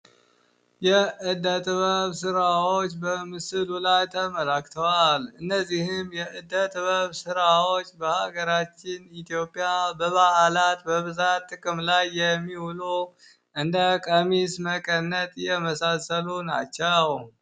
የእደት ጥበብ ሥራዎች በምስል ላይ ተመለክተዋል። እነዚህም የእደ ጥበብ ሥራዎች በሀገራችን ኢትዮጵያ በባዓላት በብዛት ጥቅም ላይ የሚውሉ እንደ ቀሚስ መቀነት የመሳሰሉ ናቸው።